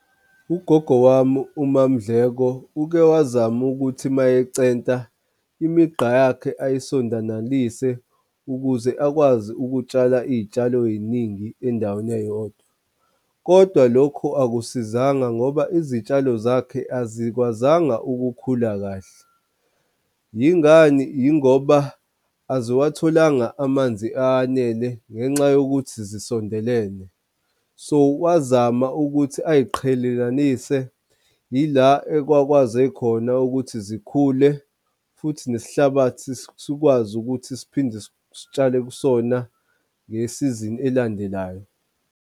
Ugogo wami uMaMdleko uke wazama ukuthi mayecenta imigqa yakhe ayisondanalise ukuze akwazi ukutshala iy'tshalo ey'ningi endaweni eyodwa. Kodwa lokho akusisizanga ngoba izitshalo zakhe azikwazanga ukukhula kahle. Yingani? Yingoba aziwatholanga amanzi anele ngenxa yokuthi zisondelane. So, wazama ukuthi ay'qhelelanise ila ekwakwaze khona ukuthi zikhule futhi nesihlabathi sikwazi ukuthi siphinde sitshale kusona ngesizini elandelayo.